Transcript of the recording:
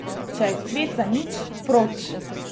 Če je cvet zanič, proč!